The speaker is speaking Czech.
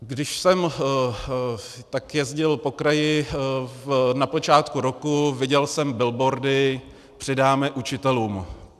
Když jsem tak jezdil po kraji na počátku roku, viděl jsem billboardy - přidáme učitelům.